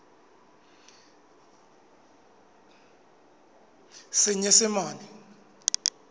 senyesemane